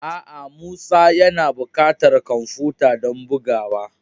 A'a. Musa yana bukatar kwamfuta don bugawa